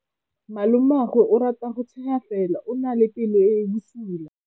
Malomagwe o rata go tshega fela o na le pelo e e bosula.